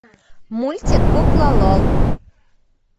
мультик кукла лол